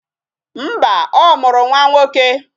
Mba, ọ mụrụ nwa nwoke